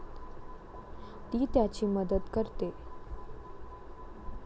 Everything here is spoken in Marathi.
ती त्याची मदत करते.